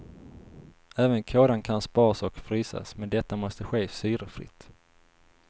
Även kådan kan sparas och frysas, men detta måste ske syrefritt.